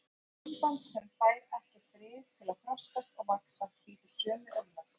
Og samband sem fær ekki frið til að þroskast og vaxa hlýtur sömu örlög.